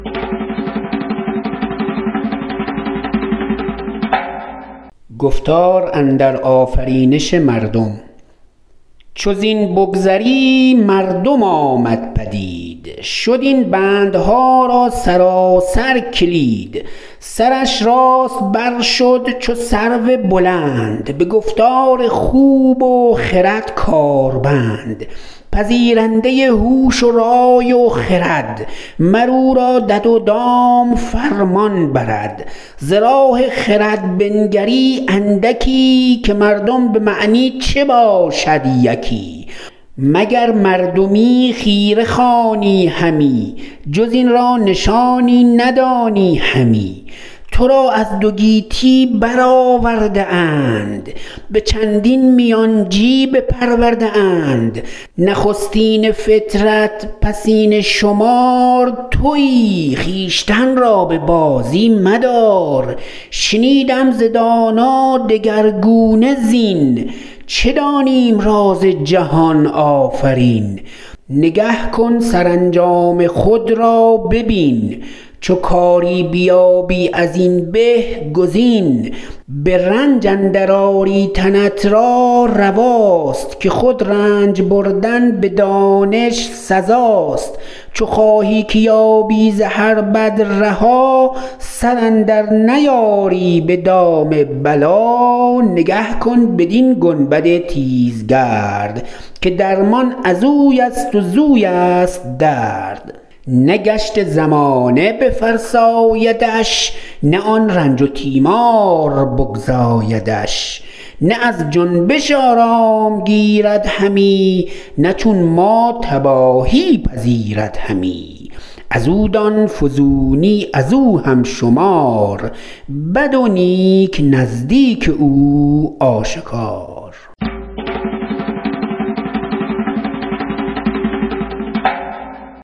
چو زین بگذری مردم آمد پدید شد این بندها را سراسر کلید سرش راست بر شد چو سرو بلند به گفتار خوب و خرد کار بند پذیرنده هوش و رای و خرد مر او را دد و دام فرمان برد ز راه خرد بنگری اندکی که مردم به معنی چه باشد یکی مگر مردمی خیره خوانی همی جز این را نشانی ندانی همی تو را از دو گیتی بر آورده اند به چندین میانچی بپرورده اند نخستین فطرت پسین شمار تویی خویشتن را به بازی مدار شنیدم ز دانا دگرگونه زین چه دانیم راز جهان آفرین نگه کن سرانجام خود را ببین چو کاری بیابی از این به گزین به رنج اندر آری تنت را رواست که خود رنج بردن به دانش سزاست چو خواهی که یابی ز هر بد رها سر اندر نیاری به دام بلا نگه کن بدین گنبد تیزگرد که درمان ازوی است و زویست درد نه گشت زمانه بفرسایدش نه آن رنج و تیمار بگزایدش نه از جنبش آرام گیرد همی نه چون ما تباهی پذیرد همی از او دان فزونی از او هم شمار بد و نیک نزدیک او آشکار